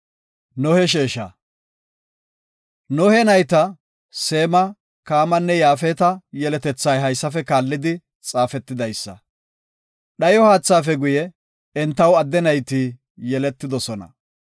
Nohe nayta, Seema, Kaamanne Yaafeta yeletethay haysafe kaallidi xaafetidaysa. Dhayo haathaafe guye, entaw adde nayti yeletidosona.